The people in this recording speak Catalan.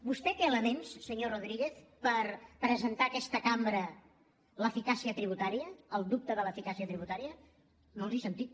vostè té elements senyor rodríguez per presentar a aquesta cambra l’eficàcia tributària el dubte de l’eficàcia tributària no els he sentit